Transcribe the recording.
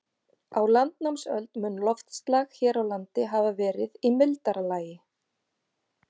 Á landnámsöld mun loftslag hér á landi hafa verið í mildara lagi.